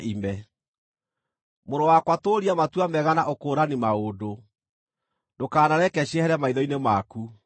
Mũrũ wakwa tũũria matua mega na ũkũũrani maũndũ, ndũkanareke ciehere maitho-inĩ maku;